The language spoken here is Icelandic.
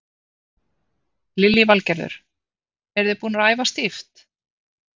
Lillý Valgerður: Eru þið búnar að æfa stíft?